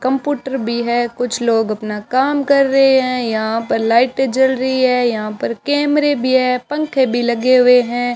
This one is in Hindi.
कंप्यूटर भी है कुछ लोग अपना काम कर रहे हैं यहां पर लाइटें जल रही है यहां पर कैमरे भी है पंखे भी लगे हुए हैं।